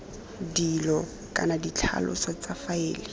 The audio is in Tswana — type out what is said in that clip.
dilo kana ditlhaloso tsa faele